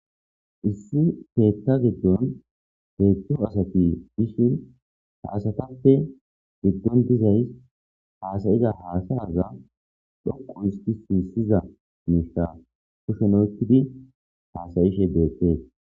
issi keetha giddon heedzu asati gishin ha asatappe giddon dizays haasayiza haasa arza dhoqo isti siissiza miishka kushenoyekidi haasayishe bettees